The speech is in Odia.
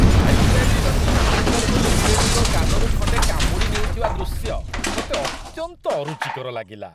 ମାଇକ୍ ଟାଇସନ୍ ଇଭାଣ୍ଡର ହୋଲିଫିଲ୍ଡଙ୍କ କାନରୁ ଖଣ୍ଡେ କାମୁଡ଼ି ନେଉଥିବା ଦୃଶ୍ୟ ମୋତେ ଅତ୍ୟନ୍ତ ଅରୁଚିକର ଲାଗିଲା।